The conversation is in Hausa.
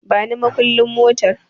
Bani makulli motar